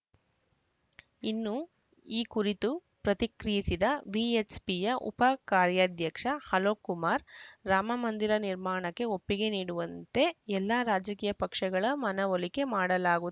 ಇನ್ನು ಈ ಕುರಿತು ಪ್ರತಿಕ್ರಿಯಿಸಿದ ವಿಎಚ್‌ಪಿಯ ಉಪ ಕಾರ್ಯಾಧ್ಯಕ್ಷ ಅಲೋಕ್‌ ಕುಮಾರ್‌ ರಾಮ ಮಂದಿರ ನಿರ್ಮಾಣಕ್ಕೆ ಒಪ್ಪಿಗೆ ನೀಡುವಂತೆ ಎಲ್ಲ ರಾಜಕೀಯ ಪಕ್ಷಗಳ ಮನವೊಲಿಕೆ ಮಾಡಲಾಗು